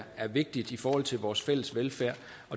vigtigt i forhold til vores fælles velfærd